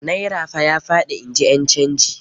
Naira fa ya faɗi, in ji ƴan canji.